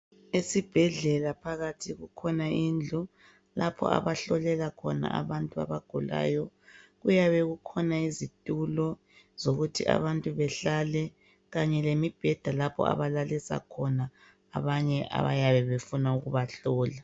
Esibhedlela phakathi kukhona indlu lapho abahlolela khona abantu abagulayo. Kuyabe kukhona izitulo zokuthi abantu behlale kanye lemibheda abalalisa khona abanye abayabe befuna ukubahlola.